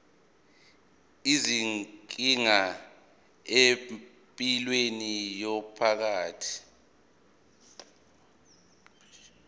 izinkinga empilweni yomphakathi